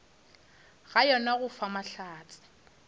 ga yona go fa bohlatse